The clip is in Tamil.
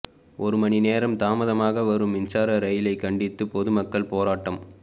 ஒரு மணி நேரம் தாமதமாக வரும் மின்சார ரயிலை கண்டித்து பொதுமக்கள் போராட்டம்